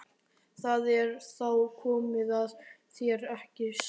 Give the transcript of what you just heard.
Það er þá komið að þér, ekki satt?